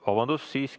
Vabandust!